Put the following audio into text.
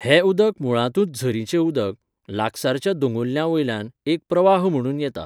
हें उदक मुळांतूच झरीचें उदक, लागसारच्या दोंगुल्ल्यां वयल्यान, एक प्रवाह म्हणून येता.